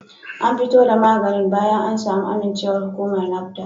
An fito da maganin bayan an samu amincewar hukumar NAFDAC